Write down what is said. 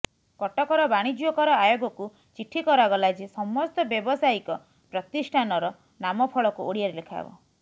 କଟକର ବାଣିଜ୍ୟ କର ଆୟୋଗକୁ ଚିଠି କରାଗଲା ଯେ ସମସ୍ତ ବ୍ୟାବସାୟିକ ପ୍ରତିଷ୍ଠାନର ନାମଫଳକ ଓଡ଼ିଆରେ ଲେଖାହେବ